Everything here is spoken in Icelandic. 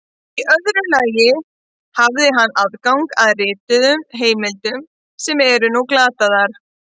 Í öðru lagi hafði hann aðgang að rituðum heimildum sem nú eru glataðar.